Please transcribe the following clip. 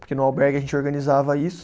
Porque no albergue a gente organizava isso.